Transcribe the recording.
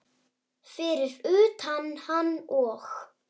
Fyrir utan hann og